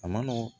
A ma nɔgɔ